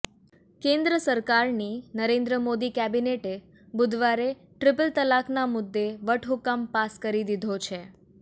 કેન્દ્ર સરકારની નરેન્દ્ર મોદી કેબિનેટે બુધવારે ટ્રિપલ તલાકના મુદ્દે વટહુકમ પાસ કરી દીધો છે